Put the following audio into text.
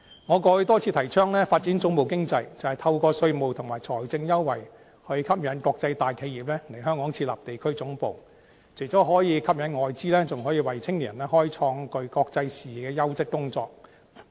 我過去多次提倡發展總部經濟，便是透過稅務和財政優惠，吸引國際大企業來港設立地區總部，除了可以吸引外資，還可以為青年人開創具國際視野的優質工作。